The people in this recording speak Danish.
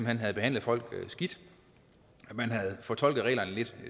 hen havde behandlet folk skidt man havde fortolket reglerne lidt